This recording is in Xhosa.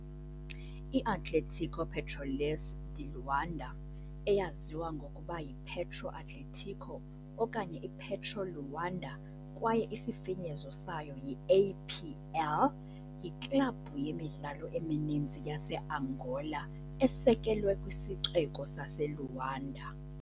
I-Atlético Petróleos de Luanda, eyaziwa ngokuba yiPetro Atlético okanye iPetro Luanda kwaye isifinyezo sayo yi-APL, yiklabhu yemidlalo emininzi yaseAngola esekelwe kwisixeko saseLuanda.